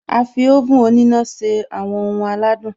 A fi oven òníná se àwọn ohun aládùn